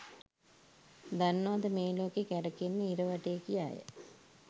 දන්නවද මේ ලෝකේ කැරකෙන්නේ ඉර වටේ කියාය